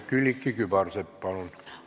Külliki Kübarsepp, palun!